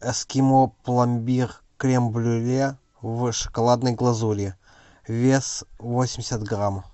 эскимо пломбир крем брюле в шоколадной глазури вес восемьдесят грамм